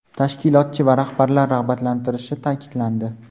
tashkilotchi va rahbarlar rag‘batlantirilishi ta’kidlandi.